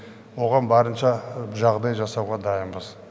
оған барынша жағдай жасауға дайынбыз